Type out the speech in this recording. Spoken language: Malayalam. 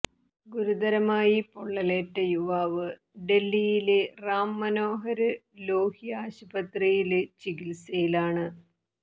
ഗുരുതരമായി പൊള്ളലേറ്റ യുവാവ് ഡൽഹിയിലെ റാം മനോഹര് ലോഹ്യ ആശുപത്രിയില് ചികിത്സയിലാണ്